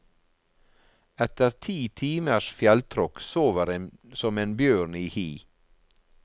Etter ti timers fjelltråkk sover en som en bjørn i hi.